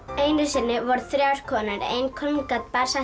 einu sinni voru þrjár konur ein konan gat bara sagt